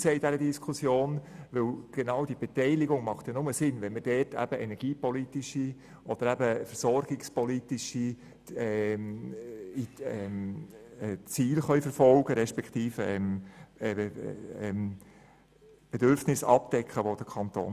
Denn genau diese Beteiligung macht nur dann Sinn, wenn man damit energie- oder auch versorgungspolitische Ziele verfolgen respektive Bedürfnisse des Kantons abdecken kann.